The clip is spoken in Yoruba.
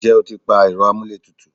ǹjẹ́ o ti pa ẹ̀rọ amúlé tutù?